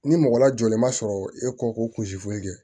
Ni mɔgɔ lajɔlen ma sɔrɔ e kɔ ko kun si foyi tɛ